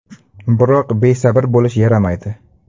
Biroq besabr bo‘lish yaramaydi.